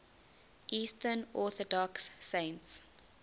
eastern orthodox saints